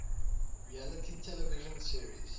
reality television series